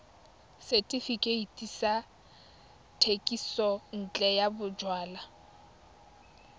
setefikeiti sa thekisontle ya bojalwa